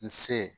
N se